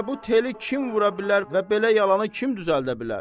və bu teli kim vura bilər və belə yalanı kim düzəldə bilər?